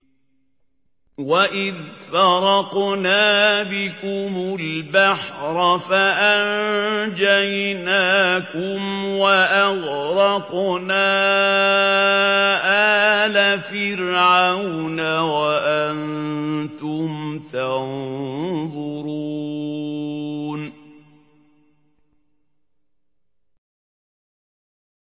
وَإِذْ فَرَقْنَا بِكُمُ الْبَحْرَ فَأَنجَيْنَاكُمْ وَأَغْرَقْنَا آلَ فِرْعَوْنَ وَأَنتُمْ تَنظُرُونَ